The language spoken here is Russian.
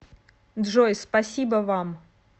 джой спасибо вам